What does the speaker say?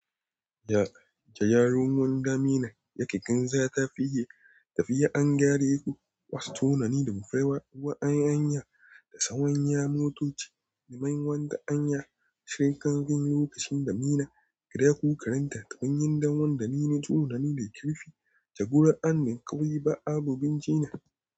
Ja, ja, yaron wani damina yake kan sata fiye, tafi ya angyare ku wasu tunani da bufarwa wa'an hanya da tsawon ya motoci, liman wanda hanya shirin kamfanin lokacin damina, kira ku karanta tafin yin daman damina tunani da kirfi, jagoran anin ƙauye ba abun ci ne.